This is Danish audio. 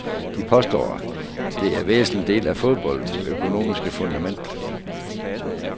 De påstår, det er en væsentlig del af fodboldens økonomiske fundament.